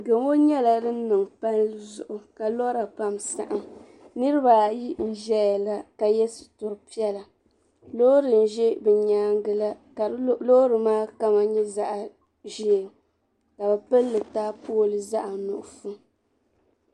Gamo nyɛla din niŋ palli zuɣu ka lora pam saɣam niraba ayi n ʒɛya la ka yɛ sitri piɛla loori n ʒɛ bi nyaangi la ka loori maa kama nyɛ zaɣ ʒiɛ ka bi pilli taapooli zaɣ nuɣso